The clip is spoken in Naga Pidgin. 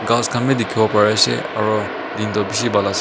ghas khan wii dikhiwo pari ase aro din toh bishi bhal ase.